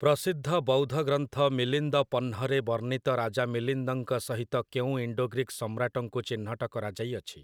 ପ୍ରସିଦ୍ଧ ବୌଦ୍ଧଗ୍ରନ୍ଥ ମିଲିଂଦପନ୍‌ହରେ ବର୍ଣ୍ଣିତ ରାଜା ମିଲିନ୍ଦଙ୍କ ସହିତ କେଉଁ ଇଣ୍ଡୋଗ୍ରୀକ୍ ସମ୍ରାଟଙ୍କୁ ଚିହ୍ନଟ କରାଯାଇଅଛି?